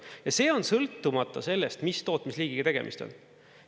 Ja see on sõltumata sellest, mis tootmisliigiga tegemist on.